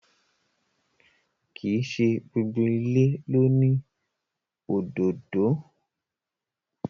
Kìí ṣe gbogbo ìlé lóni òdódó